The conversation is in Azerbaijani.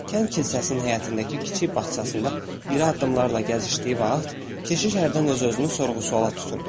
Kənd kilsəsinin həyətindəki kiçik bağçasında iri addımlarla gəzişdiyi vaxt, keşiş hərdən öz-özünü sorğu-sualla tuturdu.